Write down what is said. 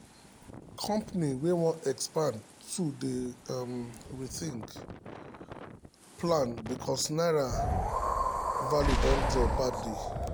company um wey wan expand don dey um rethink um plan because naira value don drop badly.